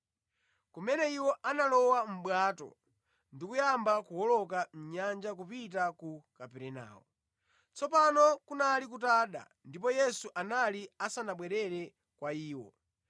kumene iwo analowa mʼbwato ndi kuyamba kuwoloka nyanja kupita ku Kaperenawo. Tsopano kunali kutada ndipo Yesu anali asanabwerere kwa iwo.